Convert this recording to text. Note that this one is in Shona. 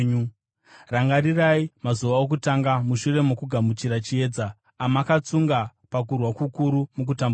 Rangarirai mazuva okutanga mushure mokugamuchira chiedza, amakatsunga pakurwa kukuru mukutambudzika.